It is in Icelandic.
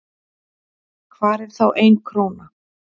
hvar er þá ein króna